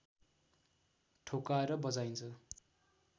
ठोक्काएर बजाइन्छ